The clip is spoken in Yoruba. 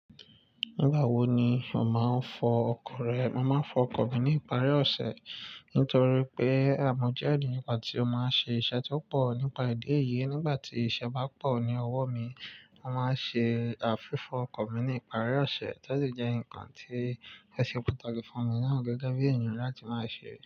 Nígbà wo ni o máa ń fọ ọkọ̀ rẹ? Mo máa ń fọ ọkọ̀ mi ní ìparí ọ̀sẹ̀ nítorí pé, mọ́ jẹ́ ẹniyan kan tí ó máa ń ṣe iṣẹ́ tí ó pọ̀ nípa ìdí èyí, nígbà tí iṣẹ́ bá pọ̀ ní ọwọ́ mi, mo máa ń ṣe fífọ́ ọkọ̀ mi ní ìparí ọ̀sẹ̀. To de jẹ́ nǹkan tí ose pataki fún mi náà, gẹ́gẹ́ bí èèyàn ni láti máa ṣe é.